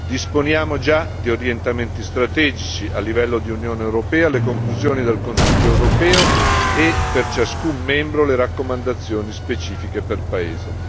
disponiamo già di orientamenti strategici, a livello di Unione europea, le conclusioni del Consiglio europeo e, per ciascuno Stato membro, le raccomandazioni specifiche per paese.